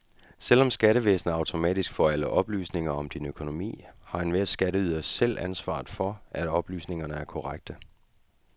Selv om skattevæsenet automatisk får alle oplysninger om din økonomi, har enhver skatteyder selv ansvaret for, at oplysningerne er korrekte.